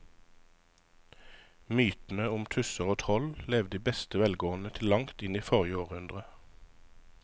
Mytene om tusser og troll levde i beste velgående til langt inn i forrige århundre.